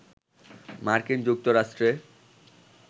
মার্কিন যুক্তরাষ্ট্রে